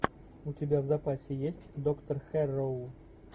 у тебя в запасе есть доктор хэрроу